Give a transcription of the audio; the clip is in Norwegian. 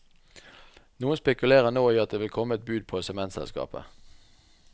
Noen spekulerer nå i at det vil komme et bud på sementselskapet.